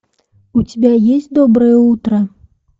у тебя есть доброе утро